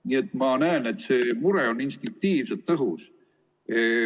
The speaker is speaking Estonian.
Nii et ma näen, et see mure on instinktiivselt õhus.